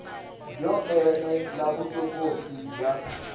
byo ene la vuswikoti bya